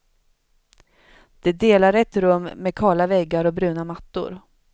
De delar ett rum med kala väggar och bruna mattor.